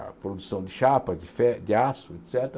a produção de chapas, de fe de aço, et cétera.